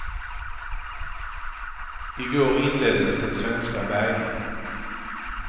I går inleddes den svenska bärgningen.